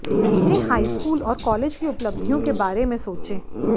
अपने हाईस्कूल और कॉलेज की उपलब्धियों के बारे में सोचें